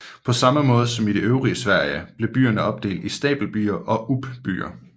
På samme måde som i det øvrige Sverige blev byerne opdelt i stapelbyer og uppbyer